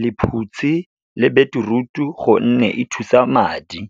lephutshi le beetroot-o gonne e thusa madi.